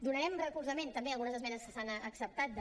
donarem recolzament també a algunes esmenes que s’han acceptat de